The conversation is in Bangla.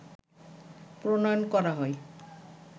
প্রণয়ন করা হয়